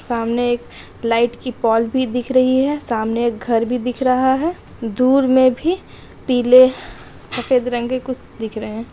सामने एक लाइट की पोल दिख रही है सामने घर भी दिख रहा है दूर में भी पिले सफ़ेद रंग के कुछ दिख रहे है।